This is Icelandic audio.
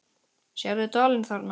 Sérðu dalinn þarna?